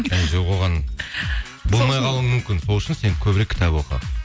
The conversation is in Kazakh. әй жоқ оған болмай қалуың мүмкін сол үшін сен көбірек кітап оқы